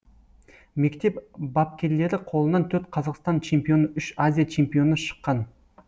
мектеп бапкерлері қолынан төрт қазақстан чемпионы үш азия чемпионы шыққан